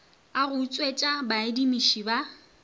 a go utswetša baadimišii ba